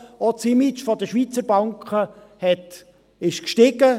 Auch das Image der Schweizer Banken ist gestiegen.